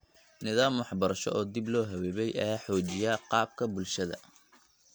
Nidaam waxbarasho oo dib loo habeeyay ayaa xoojiya qaabka bulshada .